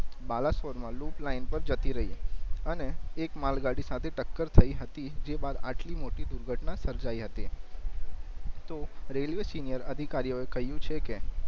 બાલાશ્વર માં loop line પર જતી રહી અને એક માલ ગાડી સાથે ટક્કર થઈ હતી જે બાદ આટલી મોટી દુર્ઘટના સર્જાઇ હતી તો રેલ્વે સિનિયર અધિકારીઓ એ કહિયું છે કે